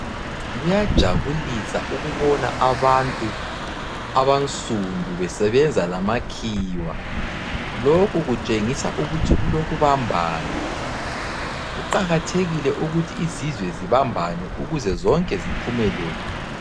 Kuyajabulisa ukubona abantu abansundu besebenza lamakhiwa. Lokhu kutshengisa ukuthi kulokubambana. Kuqakathekile ukuthi izizwe zibambane ukuze zonke ziphumelele.